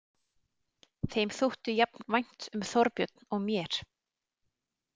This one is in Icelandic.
Þeim þótti jafn vænt um Þorbjörn og mér.